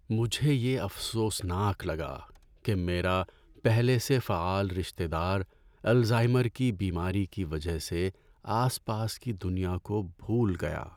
مجھے یہ افسوسناک لگا کہ میرا پہلے سے فعال رشتہ دار الزائمر کی بیماری کی وجہ سے آس پاس کی دنیا کو بھول گیا۔